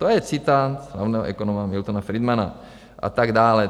To je citát slavného ekonoma Miltona Friedmana a tak dále.